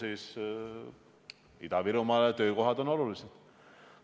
Ida-Virumaa jaoks on töökohad olulised.